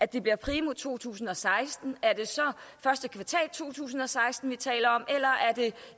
det bliver primo to tusind og seksten er det så første kvartal to tusind og seksten vi taler om eller er det